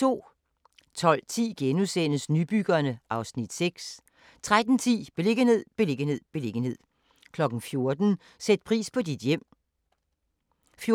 12:10: Nybyggerne (Afs. 6)* 13:10: Beliggenhed, beliggenhed, beliggenhed 14:00: Sæt pris på dit hjem 14:35: